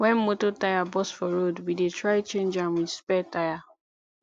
wen motor tyre burst for road we dey try change am wit spare tyre